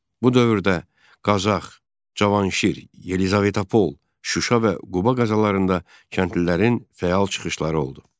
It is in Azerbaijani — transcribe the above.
Bu dövrdə Qazax, Cavanşir, Yelizavetpol, Şuşa və Quba qəzalarında kəndlilərin fəal çıxışları oldu.